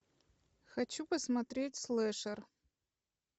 хочу посмотреть слэшер